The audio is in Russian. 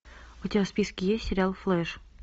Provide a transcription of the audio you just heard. у тебя в списке есть сериал флэш